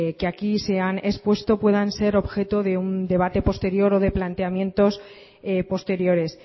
que aquí se han expuesto puedan ser objeto de un debate posterior o de planteamientos posteriores